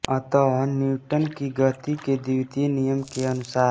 अतः न्यूटन की गति के द्वितीय नियम के अनुसार